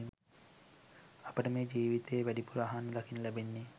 අපට මේ ජීවිතයේ වැඩිපුර අහන්න දකින්න ලැබෙන්නේ